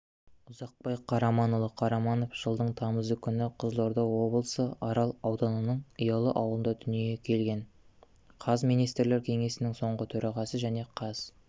ұзақбай қараманұлы қараманов жылдың тамызы күні қызылорда облысы арал ауданының ұялы ауылында дүниеге келген қаз министрлер кеңесінің соңғы төрағасы және қаз